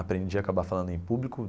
Aprendi a acabar falando em público.